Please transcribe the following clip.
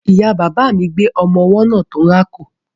Ìya bàbà mi gbé ọmọ ọwọ́ náà tó ń rákò.